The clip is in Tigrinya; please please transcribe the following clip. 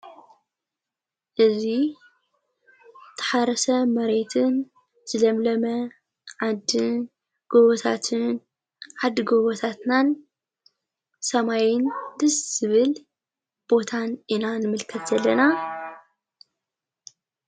እዙ ተሓረሰ መሬትን ዝለምለመ ዓድን ጐቦታትን ዓዲ ጐቦታትናን ሰማይን ድ ስብል ቦታን ኤናን ምልከዘለና።